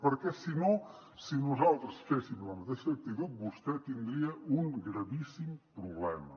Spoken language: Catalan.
perquè si no si nosaltres féssim la mateixa actitud vostè tindria un gravíssim problema